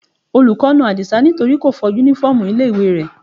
Olùkọ́ na Adisa nítorí kò fọ uniform ilé ìwé rẹ̀.